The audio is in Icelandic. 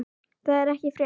Það er ekki frétt.